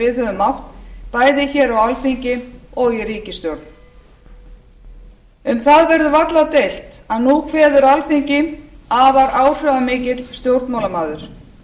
við höfum átt bæði hér á alþingi og í ríkisstjórn um það verður varla deilt að nú kveður alþingi afar áhrifamikill stjórnmálamaður